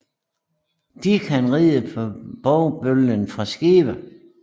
De kan ride på bovbølgen fra skibe